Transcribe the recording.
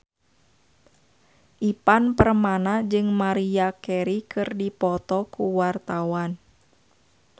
Ivan Permana jeung Maria Carey keur dipoto ku wartawan